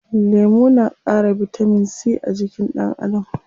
Lemu na ƙara bitamin c a jikin ɗan Adam.